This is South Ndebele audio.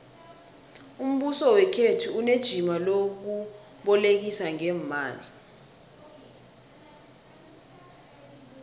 umbuso wekhethu unejima lokubolekisa ngeemali